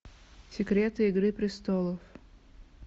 секреты игры престолов